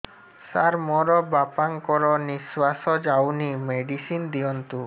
ସାର ମୋର ବାପା ଙ୍କର ନିଃଶ୍ବାସ ଯାଉନି ମେଡିସିନ ଦିଅନ୍ତୁ